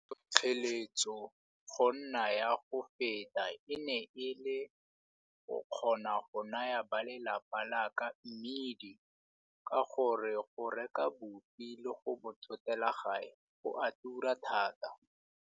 Tlhotlheletso go nna ya go feta e ne e le go kgona go naya ba lelapa la ka mmidi ka gore go reka boupi le go bo thotela gae go a tura thata.